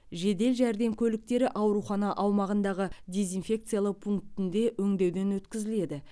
жедел жәрдем көліктері аурухана аумағындағы дезинфекциялау пунктінде өңдеуден өткізіледі